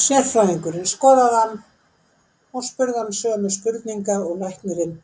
Sérfræðingurinn skoðaði hann og spurði hann sömu spurninga og læknirinn